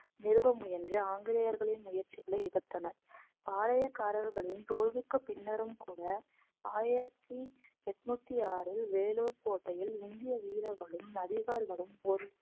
நிறுவ முயன்று ஆங்கிலேயர்களின் முயற்சிகளை எதிர்த்தனர் பாளையக்காரர்களின் தோல்விக்கு பின்னரும் கூட ஆயிரத்தி எட்நூத்தி ஆறில் வேலூர் கோட்டையில் இந்திய வீரர்களும் அதிகாரிகளும்